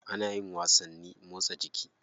Ana yin wasanni motsa jiki.